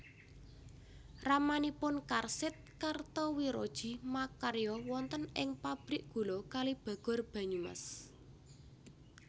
Ramanipun Karsid Kartowirodji makarya wonten ing Pabrik Gula Kalibagor Banyumas